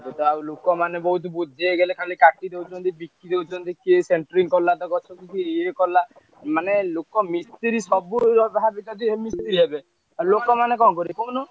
ଏବେ ଆଉ ଲୋକମାନେ ବହୁତ ବୁଦ୍ଧି ହେଇଗଲେ ଖାଲି କାଟି ଦଉଛନ୍ତି ବିକି ଦଉଛନ୍ତି, କିଏ centering କଲାତ ଗଛୁକୁ କିଏ ଇଏ କଲା। ମାନେ ଲୋକ ମିସ୍ତ୍ରୀ ସବୁ ଭାବେନା ଯେ ମିସ୍ତ୍ରୀ ହେବେ ଆଉ ଲୋକମାନେ କଣ କରିବେ କହୁନ?